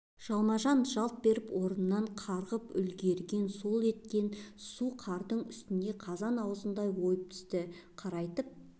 жалма-жан жалт беріп орнынан қарғып үлгерген сол еткен су қардың үстін қазан аузындай ойып түсті қарайтып